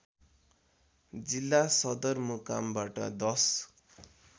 जिल्ला सदरमुकामबाट १०